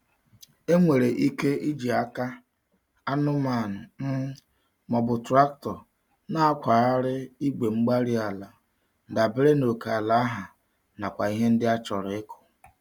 Enwere ike iji aka, anụmanụ, um ma ọ bụ traktọ nakwa-gharị Igwe-mgbárí-ala dabere n'oke ala ha, nakwa ihe ndị a chọrọ ịkụ̀.